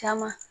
Caman